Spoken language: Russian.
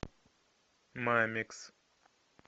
мамикс